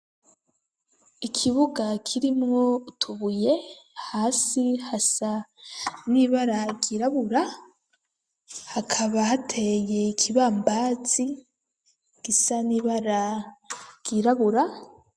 Ikibuga kirimwo utubuye hasi hasa n'ibara ryirabura hakaba hateye ikibambazi gisa n'ibara ryirabura